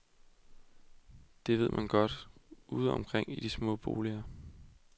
Det ved man godt, ude omkring i de små boliger.